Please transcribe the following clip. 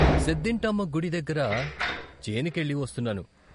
సెద్దింటమ్మ గుడి దగ్గర చేనికెళ్ళి వస్తున్నాను.